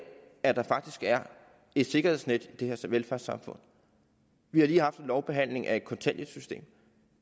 at der faktisk er et sikkerhedsnet i det her velfærdssamfund vi har lige haft en lovbehandling af kontanthjælpssystemet